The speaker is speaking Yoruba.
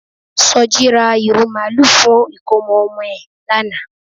Soji ra ìrù màlúù fún ìkómọ ọmọ ẹ̀ lánàá